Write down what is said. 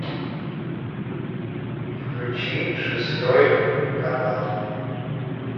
включи шестой канал